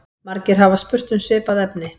Margir hafa spurt um svipað efni.